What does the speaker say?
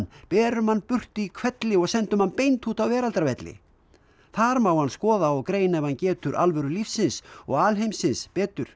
berum hann burtu í hvelli og sendum hann beint út á Veraldarvelli þar má hann skoða og greina ef hann getur alvöru lífsins og alheimsins betur